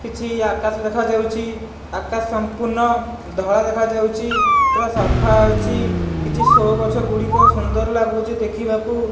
କିଛି ଆକାଶ ଦେଖାଯାଉଚି ଆକାଶ ସମ୍ପୂର୍ଣ୍ଣ ଧଳା ଦେଖାଯାଉଚି ପୂରା ସଫା ଅଛି କିଛି ସୋ ଗଛ ଗୁଡ଼ିକ ସୁନ୍ଦର ଲାଗୁଚି ଦେଖିବାକୁ।